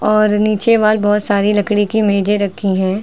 और नीचे वाल बहुत सारी लकड़ी की मेजे रखी है।